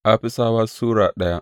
Afisawa Sura daya